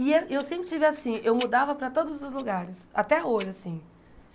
E eh e eu sempre tive assim, eu mudava para todos os lugares, até hoje assim.